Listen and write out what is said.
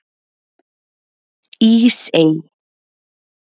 Ísey